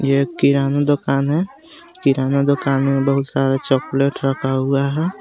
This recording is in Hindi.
यह किराना दूकान हे किराना दूकान मे बोहोत सारे चॉकलेट रखा हुआ हे.